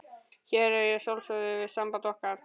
Hér á ég að sjálfsögðu við samband okkar.